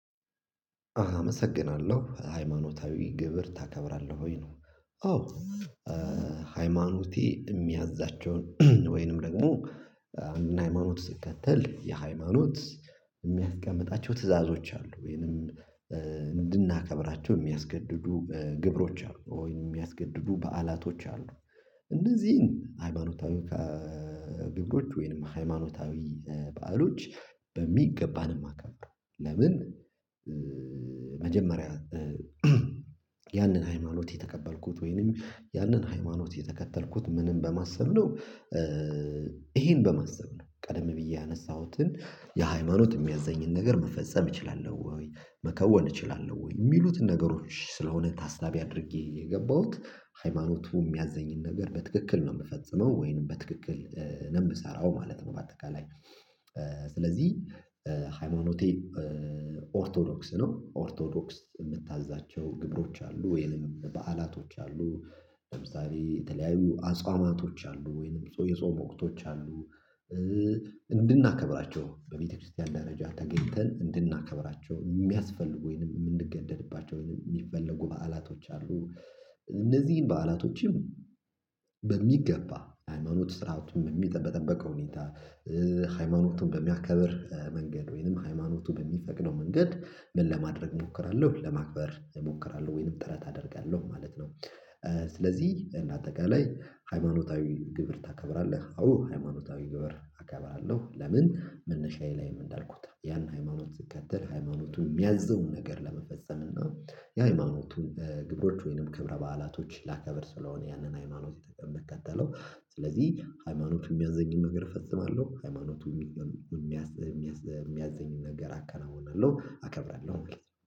አመሰግናለሁ ሃይማኖታዊ ክብር ታከብራለህ ወይ ነው? አዎ ሃይማኖቴ እሚያዛቸውን ወይንም ደግሞ አንድን ሃይማኖት ስከተል ያ ሃይማኖት እሚያስቀምጣቸው ትዕዛዞች አሉ ወይንም እንድናከብራቸው እሚያስገድዱ ግብሮች አሉ ወይም እሚያስገድዱ በዓላቶች አሉ እነዚህን ሃይማኖታዊ ግብሮች ወይንም ሃይማኖታዊ በዓሎች በሚገባ ነው። እማከብረው ለምን መጀመሪያ ያንን ሃይማኖት የተቀበልኩት ወይንም ያንን ሃይማኖት የተከተልኩት ምንን በማሰብ ነው ይሄን በማሰብ ነው ቀደም ብዬ ያነሳሁትን የሃይማኖት እሚያዘኝን ነገር መፈጸም እችላለሁ ወይ መከወን እችላለሁ ወይ እሚሉትን ነገሮች ስለሆነ ታሳቢ አድርጌ የገባሁት ሃይማኖቱ እሚያዘኝን ነገር በትክክል ነው እምፈጽመው ወይንም በትክክል ነው እምሰራው ማለት ነው። በአጠቃላይ ስለዚህ ሃይማኖቴ ኦርቶዶክስ ነው። ኦርቶዶክስ እምታዛቸው ግብሮች አሉ ወይንም በዓላቶች አሉ ለምሳሌ የተለያዩ አጽዋማቶች አሉ ወይንም የጾም ወቅቶች አሉ እንድናከብራቸው በቤተክርስቲያን ደረጃ ተገኝተን እንድናከብራቸው እሚያስፈልጉ ወይንም እምንገደድባቸው ወይንም እሚፈለጉ በዓላቶች አሉ። እነዚህን በዓላቶችም በሚገባ ሃይማኖት ስራዎን በጠበቀ ሁኔታ ሃይማኖቱን በሚያከብር መንገድ ወይንም ሃይማኖቱን በሚፈቅደው መንገድ ምን ለማድረግ እሞክራለሁ ለማክበር እሞክራለሁ ወይንም ጥረት አደርጋለሁ ማለት ነው። ስለዚህ እንደ አጠቃላይ ሃይማኖታዊ ክብር ታከብራለህ? አዎ ሃይማኖታዊ ክብር አከብራለሁ። ለምን መነሻዬ ላይም እንዳልኩት ያን ሃይማኖት ስከተል ሃይማኖቱ እሚያዝዘውን ነገር ለመፈጸም እና የሃይማኖቱን ግብሮች ወይንም ክብረ በዓላቶች ላከብር ስለሆነ ያንን ሃይማኖት እምከተለው ስለዚህ ሃይማኖት እሚያዘኝም ነገር እፈጽማለሁ ሃይማኖቱ እሚያዘኝን ነገር አከናውናለሁ አከብራለሁ ማለት ነው